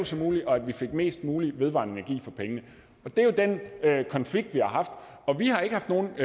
som muligt og at vi fik mest muligt vedvarende energi for pengene det er jo den konflikt vi har haft og vi har ikke haft nogen